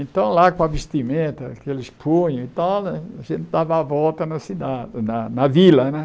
Então, lá com a vestimenta, aqueles e tal né, a gente dava a volta na cidade na na vila né.